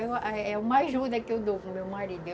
É uma ajuda que eu dou para o meu marido.